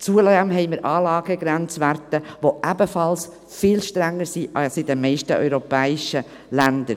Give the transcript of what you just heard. Zudem haben wir Anlagegrenzwerte, die ebenfalls viel strenger sind als in den meisten europäischen Ländern.